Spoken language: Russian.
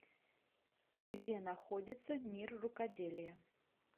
где находится мир рукоделия